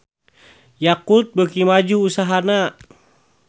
Yakult beuki maju usahana